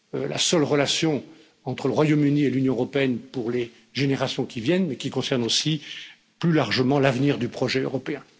la seule relation entre le Royaume Uni et l'Union européenne pour les générations qui viennent, mais qui concerne aussi, plus largement, l'avenir du projet européen.